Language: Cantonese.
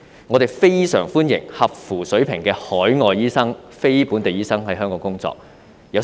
我們非常歡迎達專業水平的非本地醫生來港工作。